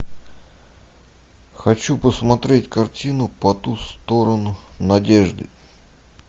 хочу посмотреть картину по ту сторону надежды